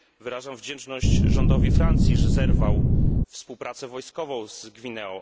Wyrażam wdzięczność rządowi Francji za to, że zerwał współpracę wojskową z Gwineą.